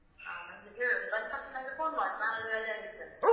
ಹ ನಂಗೆ ಹೇಳು. ಬಂತಕ್ಷಣ ನಂಗೆ phone ಮಾಡು. ನಾನು ಇಲ್ಲಿ ರೆಡಿ ಆಗಿರ್ತೇನೆ.